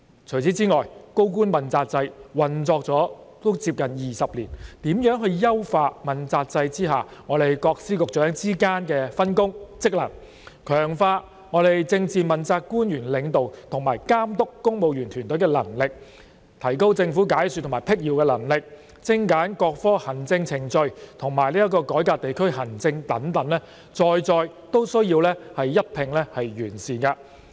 除此之外，主要官員問責制運作接近20年，如何優化問責制下各司局長之間的分工及職能，強化政治問責官員領導及監督公務員團隊的能力，提高政府解說及闢謠能力，精簡各科行政程序，以及改革地區行政等，在在均需要一併完善。